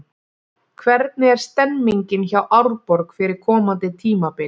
Hvernig er stemningin hjá Árborg fyrir komandi tímabil?